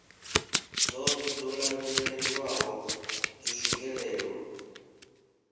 dzoṱhe dzo lavhelelwaho dzo swikelelwa